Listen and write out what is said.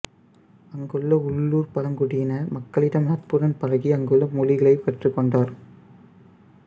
அங்குள்ள உள்ளூர்ப் பழங்குடியின மக்களிடம் நட்புடன் பழகி அங்குள்ள மொழிகளைக் கற்றுக் கொண்டார்